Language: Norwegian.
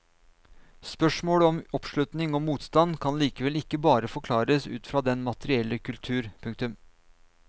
Spørsmålet om oppslutning og motstand kan likevel ikke bare forklares ut fra den materielle kultur. punktum